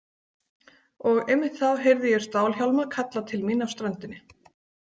Og einmitt þá heyrði ég stálhjálma kalla til mín af ströndinni.